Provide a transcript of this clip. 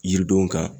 Yiridenw kan